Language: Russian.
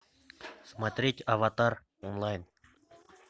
смотреть аватар онлайн